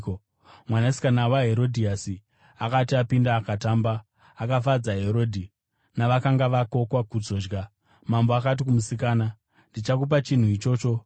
Mwanasikana waHerodhiasi akati apinda akatamba, akafadza Herodhi navakanga vakokwa kuzodya. Mambo akati kumusikana, “Ndikumbire chipi zvacho chaunoda, uye ndichakupa chinhu ichocho.”